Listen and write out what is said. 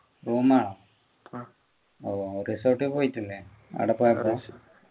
room ആ ഓ resort പോയിട്ടില്ലേ ആട പോയപ്പോ